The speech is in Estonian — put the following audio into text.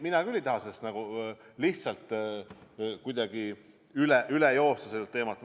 Mina küll ei taha lihtsalt kuidagi üle joosta sellest teemast.